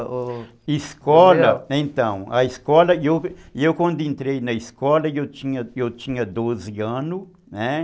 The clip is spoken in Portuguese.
A escola, então, a escola, eu eu quando entrei na escola, eu tinha eu tinha doze anos, né?